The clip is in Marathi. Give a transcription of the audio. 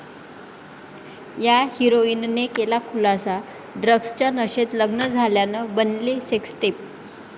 या हिराॅईनने केला खुलासा, ड्रग्जच्या नशेत लग्न झाल्यानं बनली सेक्सटेप